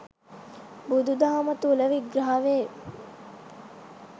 බුදු දහම තුළ විග්‍රහ වේ.